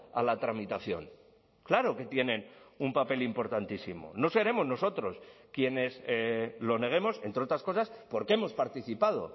a la tramitación claro que tienen un papel importantísimo no seremos nosotros quienes lo neguemos entre otras cosas porque hemos participado